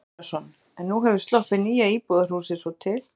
Hafþór Gunnarsson: En nú hefur sloppið nýja íbúðarhúsið svo til?